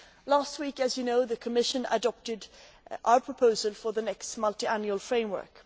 Last week, as you know, the Commission adopted our proposal for the next multiannual framework